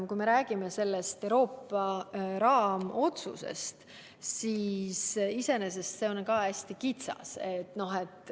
Kui me räägime Euroopa raamotsusest, siis iseenesest on see hästi kitsas.